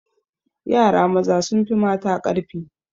Yara maza sun fi mata ƙarfi